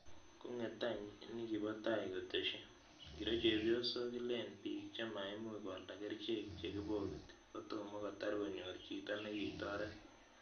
konget any nikipotai kotesyi, ngiro chepyosok Ilen bik chemaimuchi koalda kerchek che kibokiti kitomo kotar konyor chito nekitoret